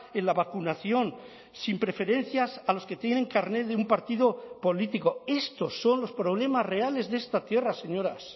en la vacunación sin preferencias a los que tienen carnet de un partido político estos son los problemas reales de esta tierra señoras